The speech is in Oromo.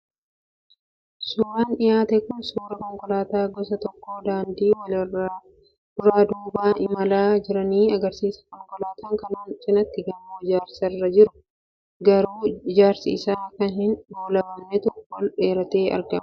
Suuraan dhiyaate kun suuraa konkolaattota gosa tokkoo daandii irra wal-duraa duubaan imala irra jiranii agarsiisa. Konkolaattota kanaan cinaatti gamoo ijaarsa irra jiru garuu ijaarsi isaa kan hin goolabamnetu ol dheeratee argama.